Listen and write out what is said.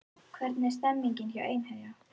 Hvernig er stemningin hjá Einherja?